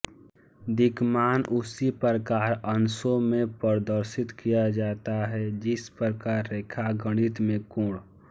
दिक्मान उसी प्रकार अंशों में प्रदर्शित किया जाता है जिस प्रकार रेखागणित में कोण